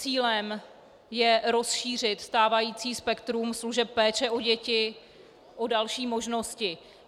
Cílem je rozšířit stávající spektrum služeb péče o děti o další možnosti.